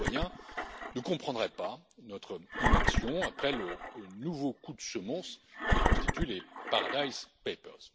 Les citoyens ne comprendraient pas notre inaction après le nouveau coup de semonce que constituent les Paradise Papers